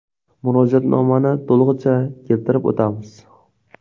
Murojaatnomani to‘lig‘icha keltirib o‘tamiz.